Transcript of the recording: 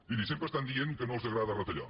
miri sempre estan dient que no els agrada retallar